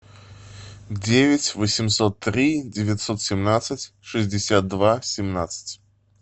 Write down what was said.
девять восемьсот три девятьсот семнадцать шестьдесят два семнадцать